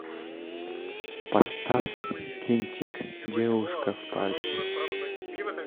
поставь кинчик девушка в парке